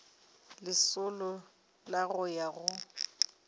lesolo la go ya go